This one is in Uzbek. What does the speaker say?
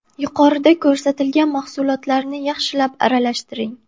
Yuqorida ko‘rsatilgan mahsulotlarni yaxshilab aralashtiring.